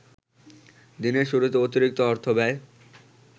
দিনের শুরুতে অতিরিক্ত অর্থব্যয়